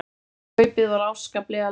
En kaupið var afskaplega lágt.